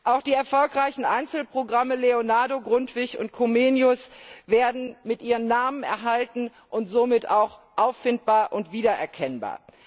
Auch die erfolgreichen Einzelprogramme LEONARDO, GRUNDTVIG und COMENIUS werden mit ihrem Namen erhalten und sind somit auch auffindbar und wiedererkennbar.